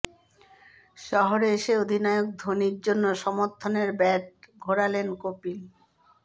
শহরে এসে অধিনায়ক ধোনির জন্য সমর্থনের ব্যাট ঘোরালেন কপিল